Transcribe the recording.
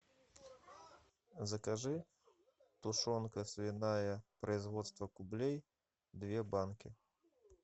закажи тушенка свиная производства кублей две банки